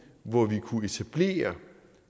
hvori vi kunne etablere